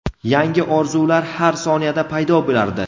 yangi orzular har soniyada paydo bo‘lardi.